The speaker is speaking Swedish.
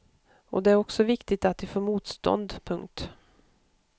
Och det är också viktigt att de får motstånd. punkt